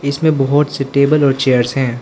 इसमें बहुत से टेबल और चेयर्स है।